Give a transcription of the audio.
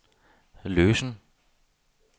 løsen